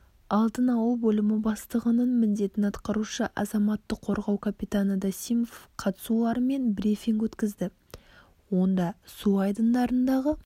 алдын-алу бөлімі бастығының міндетін атқарушы азаматтық қорғау капитаны досимов қатысуларымен брифинг өткізді онда су айдындарындағы